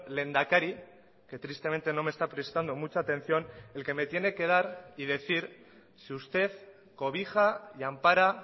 lehendakari que tristemente no me está prestando mucha atención el que me tiene que dar y decir si usted cobija y ampara